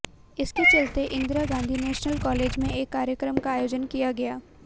इसके चलते Indira Gandhi national college में एक कार्यक्रम का आयोजन किया गया